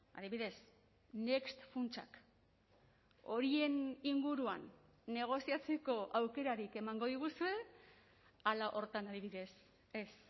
adibidez next funtsak horien inguruan negoziatzeko aukerarik emango diguzue hala horretan adibidez ez